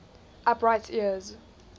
upright ears